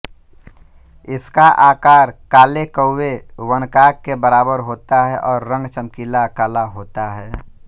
इसका आकार काले कौए वनकाक के बराबर होता है और रंग चमकीला काला होता है